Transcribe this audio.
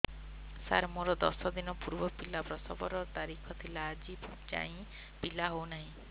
ସାର ମୋର ଦଶ ଦିନ ପୂର୍ବ ପିଲା ପ୍ରସଵ ର ତାରିଖ ଥିଲା ଆଜି ଯାଇଁ ପିଲା ହଉ ନାହିଁ